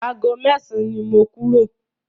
Ago mẹ́san ni mo kúrò.